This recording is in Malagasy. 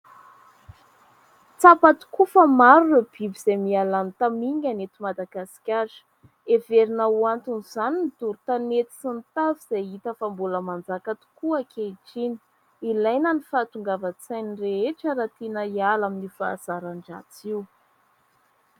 Tsapa tokoa fa maro ireo biby izay miha lany tamingana eto Madagasikara, heverina ho anton' izany ny doro tanety sy ny tavy, izay hita fa mbola manjaka tokoa ankehitriny, ilaina ny fahatongavan-tsain'ny rehetra raha tiana hiala amin'io fahazaran-dratsy io.